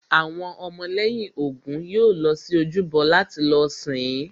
Àwọn ọmọ lẹ́yìn Ògún yóò lọ sí ojúbọ láti lọ sìn-ín